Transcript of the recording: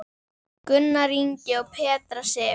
Gunnar Ingi og Petra Sif.